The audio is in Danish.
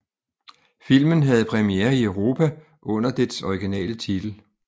Filmen havde premiere i Europa under dets originale titel